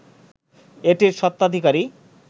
এটির স্বত্বাধিকারী